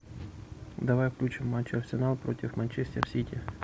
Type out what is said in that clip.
давай включим матч арсенал против манчестер сити